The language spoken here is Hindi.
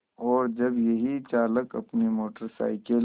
और जब यही चालक अपनी मोटर साइकिल